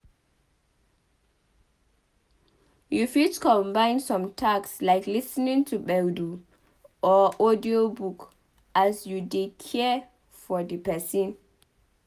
You fit combine some tasks like lis ten ing to gbedu or audio book as you dey care for di person